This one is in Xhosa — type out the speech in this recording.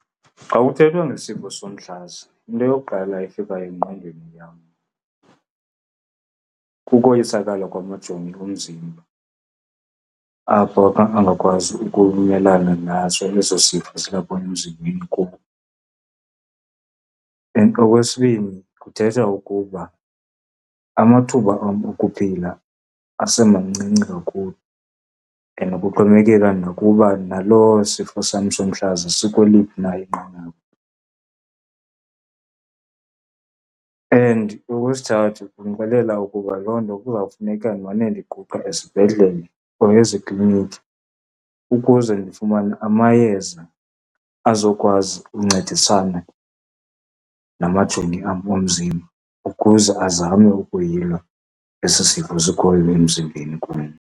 Xa kuthethwa ngesifo somhlaza, into yokuqala efikayo engqondweni yam kukoyisakala kwamajoni omzimba, apho angakwazi ukumelana naso eso sifo silapha emzimbeni kum. And okwesibini, kuthetha ukuba amathuba am okuphila asemancinci kakhulu and kuxhomekeka nakuba naloo sifo sam somhlaza sikweliphi na inqanaba. And okwesithathu, kundixelela ukuba loo nto kuzawufuneka ndimane ndiquqa esibhedlele or ezikliniki ukuze ndifumane amayeza azokwazi uncedisana namajoni am omzimba ukuze azame ukuyilwa esi sifo sikhoyo emzimbeni kum.